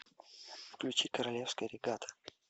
включи королевская регата